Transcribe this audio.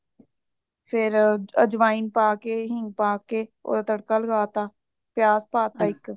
ਫੇਰ ਅਝਵਾਂਨ ਪਾਕੇ ਹਿੰਗ ਪਾ ਕੇ ਓਹਦਾ ਤੜਕਾ ਲਾਗਾਤਾ ਪਿਆਜ ਪਾਤਾ ਇੱਕ